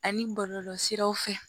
Ani bɔlɔlɔsiraw fɛ